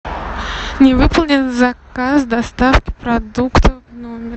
не выполнен заказ доставки продуктов в номер